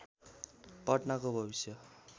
पटनाको भविष्य